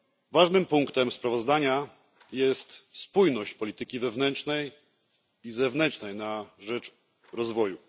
Ważnym punktem sprawozdania jest spójność polityki wewnętrznej i zewnętrznej na rzecz rozwoju.